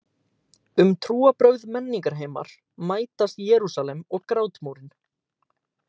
Um trúarbrögð Menningarheimar mætast Jerúsalem og Grátmúrinn